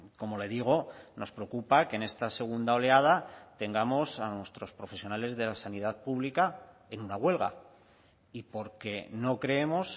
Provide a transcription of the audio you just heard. como le digo nos preocupa que en esta segunda oleada tengamos a nuestros profesionales de la sanidad pública en una huelga y porque no creemos